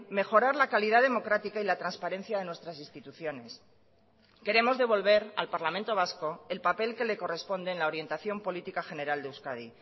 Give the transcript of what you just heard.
mejorar la calidad democrática y la transparencia de nuestras instituciones queremos devolver al parlamento vasco el papel que le corresponde en la orientación política general de euskadi